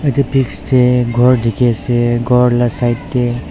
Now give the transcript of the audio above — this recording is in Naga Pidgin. edu pics tae ghor dikhiase ghor la side tae.